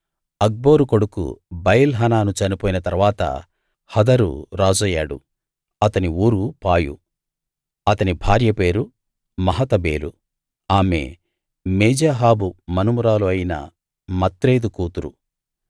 అక్బోరు కొడుకు బయల్‌ హానాను చనిపోయిన తరువాత హదరు రాజయ్యాడు అతని ఊరు పాయు అతని భార్య పేరు మహేతబేలు ఆమె మేజాహాబు మనుమరాలు అయిన మత్రేదు కూతురు